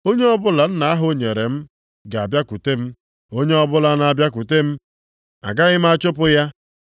Onye ọbụla Nna ahụ nyere m ga-abịakwute m, onye ọbụla na-abịakwute m, agaghị m achụpụ ya.